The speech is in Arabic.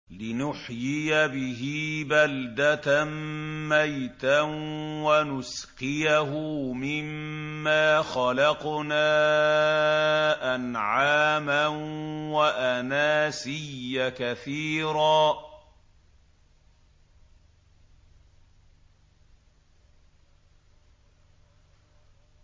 لِّنُحْيِيَ بِهِ بَلْدَةً مَّيْتًا وَنُسْقِيَهُ مِمَّا خَلَقْنَا أَنْعَامًا وَأَنَاسِيَّ كَثِيرًا